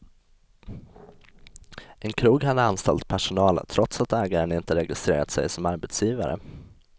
En krog hade anställd personal trots att ägaren inte registrerat sig som arbetsgivare.